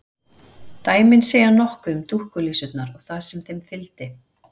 Dæmin segja nokkuð um dúkkulísurnar og það sem þeim fylgdi.